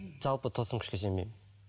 жалпы тылсым күшке сенбеймін